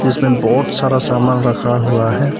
इसमें बहुत सारा सामान रखा हुआ है।